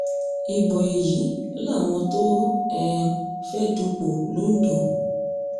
ibo èyí làwọn tó um fẹ́ẹ́ dúpọ̀ londo